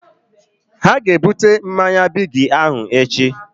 Ha ga ebute mmanya Bigi ahụ echi